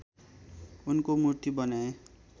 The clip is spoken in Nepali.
उनको मूर्ति बनाए